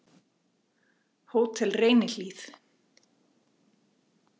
Hótel Reynihlíð